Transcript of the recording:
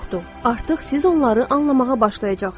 Artıq siz onları anlamağa başlayacaqsınız.